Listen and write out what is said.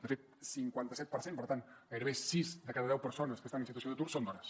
de fet cinquanta set per cent per tant gairebé sis de cada deu persones que estan en situació d’atur són dones